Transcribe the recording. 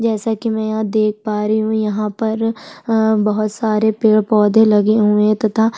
जैसा की मैं देख पा रही हूँ यहाँ पर अ बहुत सारे पेड़-पौधे लगे हुए है तथा --